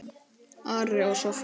Ari og Soffía.